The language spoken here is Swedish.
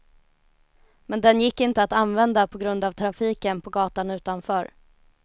Men den gick inte att använda på grund av trafiken på gatan utanför.